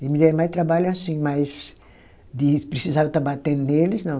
Eles me deram mais trabalho assim, mas de precisar estar batendo neles, não.